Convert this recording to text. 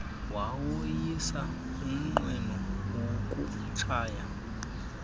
wawoyisa umnqweno wokutshaya